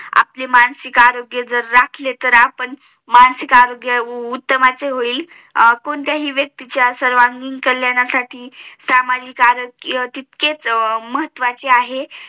आपले मानसिक आरोग्य जर राखले तर आपण मानसिक आरोग्य उत्तमच होईल कोणत्याही व्यक्तीच्या सर्वांगीण कल्याणासाठी सामाजिक आरोग्य तितकेच महत्वाचे आहे